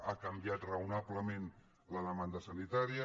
ha canviat raonablement la demanda sanitària